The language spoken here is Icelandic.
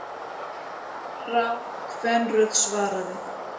Rám kvenrödd svaraði.